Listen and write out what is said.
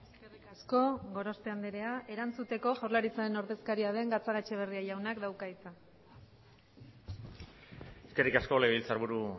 eskerrik asko gorospe andrea erantzuteko jaurlaritzaren ordezkaria den gatzagaetxebarria jaunak dauka hitza eskerrik asko legebiltzarburu